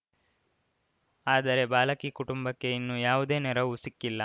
ಆದರೆ ಬಾಲಕಿ ಕುಟುಂಬಕ್ಕೆ ಇನ್ನೂ ಯಾವುದೇ ನೆರವು ಸಿಕ್ಕಿಲ್ಲ